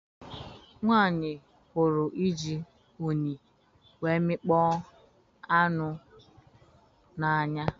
Nwanyi hụrụ iji unyi wee mikpọ anụ na-anya